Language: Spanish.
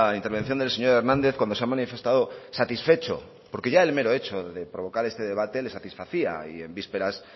intervención del señor hernández cuando se ha manifestado satisfecho porque ya el mero hecho de provocar este debate le satisfacía y en vísperas